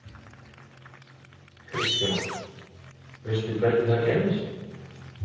Kristján: Veistu hvernig það gerðist?